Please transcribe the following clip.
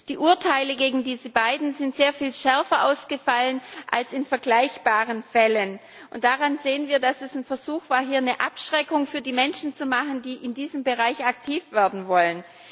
Die Urteile gegen diese beiden sind sehr viel schärfer ausgefallen als in vergleichbaren Fällen. Und daran sehen wir, dass das ein Versuch war, die Menschen abzuschrecken, die in diesem Bereich aktiv werden wollen.